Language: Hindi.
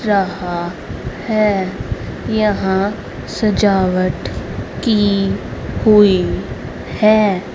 रहा है यहां सजावट की हुई हैं।